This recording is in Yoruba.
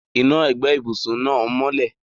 Iná ẹ̀gbẹ́ ibùsùn náà mọ́lẹ̀.